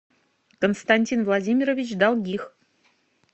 константин владимирович долгих